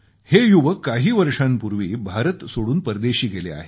हे युवक काही वर्षांपूर्वी भारत सोडून परदेशी गेले आहेत